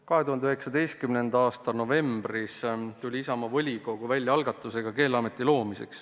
2019. aasta novembris tuli Isamaa volikogu välja algatusega luua Keeleamet.